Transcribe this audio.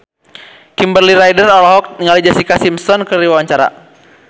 Kimberly Ryder olohok ningali Jessica Simpson keur diwawancara